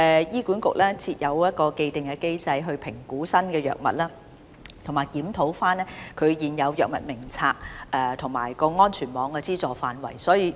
醫管局設有一個既定的機制來評估新藥物，以及檢討現有《藥物名冊》及安全網的資助範圍。